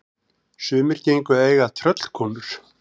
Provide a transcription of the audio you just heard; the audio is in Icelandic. Sumir gengu að eiga tröllkonur.